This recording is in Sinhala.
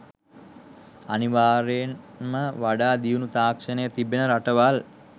අනිවාර්යයෙන්ම වඩා දියුණු තාක්ෂණයක් තිබෙන රටවල්